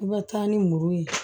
I bɛ taa ni muru ye